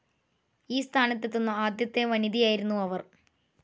ഈ സ്ഥാനത്തെത്തുന്ന ആദ്യത്തെ വനിതയായിരുന്നു അവർ.